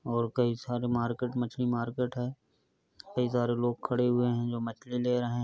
और कई सारे मार्केट मछली मार्केट है। कई सारे लोग खड़े हुए हैं जो मछली ले रहे --